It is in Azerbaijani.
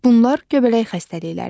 Bunlar göbələk xəstəlikləridir.